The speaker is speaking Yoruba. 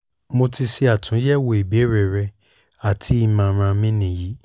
mo ti ṣe atunyẹwo ibeere rẹ ati imọran mi ni yi